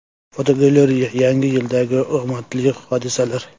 Fotogalereya: Yangi yildagi omadli hodisalar.